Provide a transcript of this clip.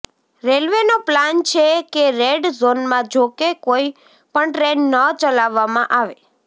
રેલવેનો plan છે કે red ઝોનમાં જોકે કોઈ પણ ટ્રેન ન ચલાવવામાં આવે